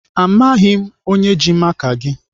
Amaghị m onye ji maka gị.